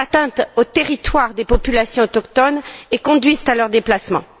Ils portent atteinte au territoire des populations autochtones et conduisent à leur déplacement.